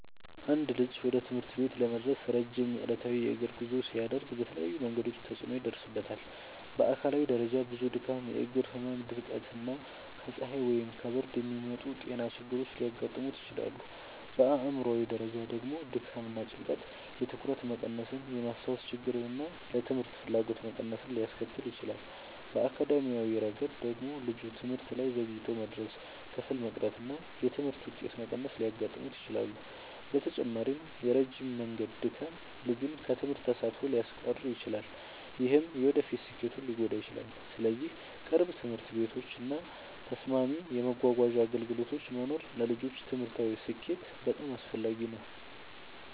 አንድ ልጅ ወደ ትምህርት ቤት ለመድረስ ረጅም ዕለታዊ የእግር ጉዞ ሲያደርግ በተለያዩ መንገዶች ተጽዕኖ ይደርስበታል። በአካላዊ ደረጃ ብዙ ድካም፣ የእግር ህመም፣ ድርቀት እና ከፀሐይ ወይም ከብርድ የሚመጡ ጤና ችግሮች ሊያጋጥሙት ይችላሉ። በአእምሯዊ ደረጃ ደግሞ ድካም እና ጭንቀት የትኩረት መቀነስን፣ የማስታወስ ችግርን እና ለትምህርት ፍላጎት መቀነስን ሊያስከትል ይችላል። በአካዳሚያዊ ረገድ ደግሞ ልጁ ትምህርት ላይ ዘግይቶ መድረስ፣ ክፍል መቅረት እና የትምህርት ውጤት መቀነስ ሊያጋጥሙት ይችላሉ። በተጨማሪም የረጅም መንገድ ድካም ልጁን ከትምህርት ተሳትፎ ሊያስቀር ይችላል፣ ይህም የወደፊት ስኬቱን ሊጎዳ ይችላል። ስለዚህ ቅርብ ትምህርት ቤቶች እና ተስማሚ የመጓጓዣ አገልግሎቶች መኖር ለልጆች ትምህርታዊ ስኬት በጣም አስፈላጊ ነው።